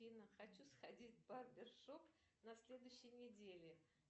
афина хочу сходить в барбершоп на следующей неделе